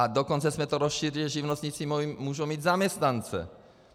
A dokonce jsme to rozšířili, že živnostníci můžou mít zaměstnance.